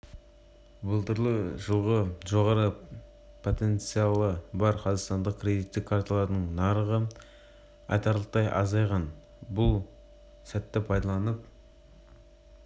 былтырғы жылы жоғары потенциялы бар қазақстандық кредиттік карталардың нарығы айтарлықтай азайған біз бұл сәтті пайдаланып